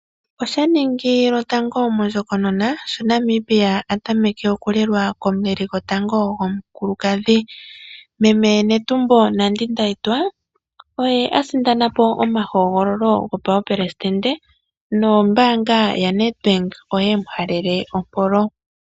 Osha ningi shotango mondjokonona sho Namibia a tameke okulelwa komuleli gomukulukadhi. Meme Netumbo Nandi Ndaitwa oye a sindanapo omahogololo gopaupelesidende, nombaanga ya NedBank pyemu halele ompolo.